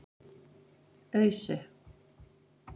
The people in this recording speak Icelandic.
Ausu